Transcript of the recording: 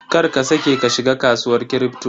Kar ka saƙe ka shiga kasuwar Kripto.